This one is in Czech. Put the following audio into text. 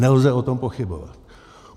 Nelze o tom pochybovat.